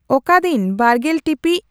ᱚᱠᱟ ᱫᱤᱱ ᱵᱟᱨᱜᱮᱞ ᱴᱤᱯᱤᱡ